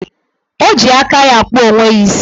O ji aka ya akpụ onwe ya isi